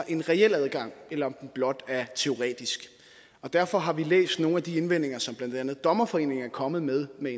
en reel adgang eller om den blot er teoretisk og derfor har vi læst nogle af de indvendinger som blandt andet dommerforeningen er kommet med med